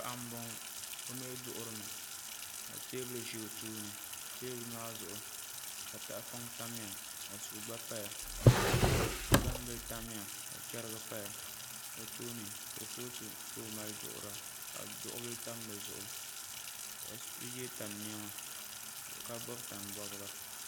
Paɣa n boŋo o mii duŋurimi ka teebuli ʒɛ o tooni teebuli maa zuɣu tahapoŋ n tamya ka suu gba paya gbambili tamya ka chɛrigi paya o tooni kurifooti ka o mali duɣura ka duɣu bili tam dizuɣu ka yɛ tan niɛma ka bob tani bobga